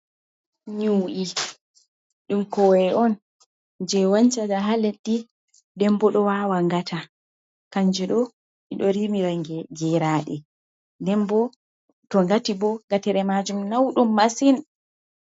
Nyu’i ɗum kowowe on jei wancata haa leddi, nden bo ɗo wawa ngata. Kanjum ɗo ɗi ɗo rimira geraɗe. Nden bo to ngati bo, ngatere majum nauɗum masin.